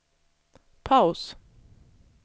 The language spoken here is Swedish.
paus